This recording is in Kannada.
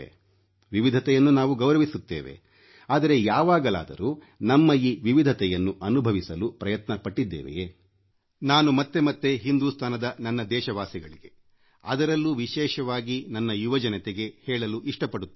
ವಿವಿಧತೆಯನ್ನು ನಾವು ಗೌರವಿಸುತ್ತೇವೆ ಆದರೆ ಯಾವಾಗಲಾದರೂ ನಮ್ಮ ಈ ವಿವಿಧತೆಯನ್ನು ಅನುಭವಿಸಲು ಪ್ರಯತ್ನಪಟ್ಟಿದ್ದೇವೆಯೇ ನಾನು ಮತ್ತೆ ಮತ್ತೆ ಹಿಂದುಸ್ತಾನದ ನನ್ನ ದೇಶ ವಾಸಿಗಳಿಗೆ ಅದರಲ್ಲೂ ವಿಶೇಷವಾಗಿ ನನ್ನ ಯುವ ಜನತೆಗೆ ಹೇಳಲು ಇಷ್ಟ ಪಡುತ್ತೇನೆ